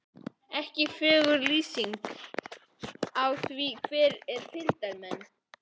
Ekki er fögur lýsingin á því er fylgdarmenn